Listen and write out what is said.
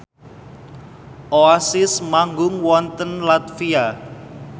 Oasis manggung wonten latvia